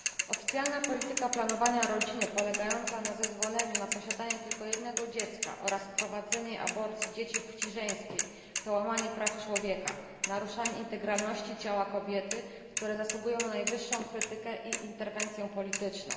Oficjalna polityka planowania rodziny polegająca na zezwoleniu na posiadanie tylko jednego dziecka oraz wprowadzenie aborcji dzieci płci żeńskiej to łamanie praw człowieka, naruszanie integralności ciała kobiety, które zasługują na najwyższą krytykę i interwencję polityczną.